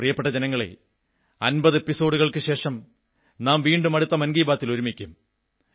പ്രിയപ്പെട്ട ജനങ്ങളേ 50 എപ്പിസോഡുകൾക്കുശേഷം നാം വീണ്ടും അടുത്ത മൻ കീ ബാത്തിൽ ഒരുമിക്കും